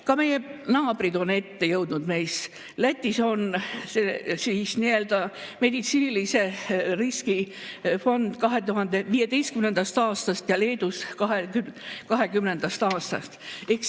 Ka meie naabrid on meist ette jõudnud: Lätis on nii-öelda meditsiinilise riski fond 2015. aastast ja Leedus 2020. aastast.